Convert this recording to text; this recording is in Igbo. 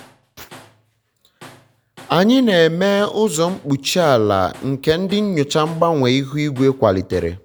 anyị um na-eme ụzọ mkpuchi ala nke ndị um nyocha mgbanwe ihu igwe kwalitere um